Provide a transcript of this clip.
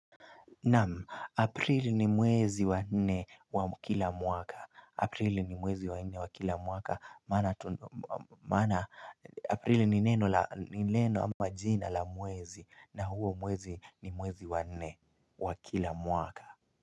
Naam, Aprili ni mwezi wa nne wa kila mwaka, Aprili ni mwezi wa nne wa kila mwaka, maana, Aprili ni neno la ama jina la mwezi na huo mwezi ni mwezi wa nne wa kila mwaka.